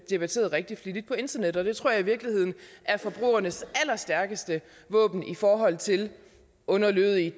debatteret rigtig flittigt på internettet og det tror jeg i virkeligheden er forbrugernes allerstærkeste våben i forhold til underlødige